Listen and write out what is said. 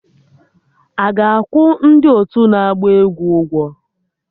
Aga akwụ ndị otu na-agba egwu ụgwọ?